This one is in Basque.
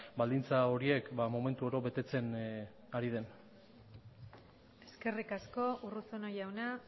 baldintza horiek momentu oro betetzen ari den eskerrik asko urruzuno jauna